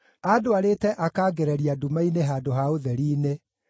Andwarĩte akangereria nduma-inĩ handũ ha ũtheri-inĩ;